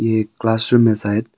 ये एक classroom है शायद।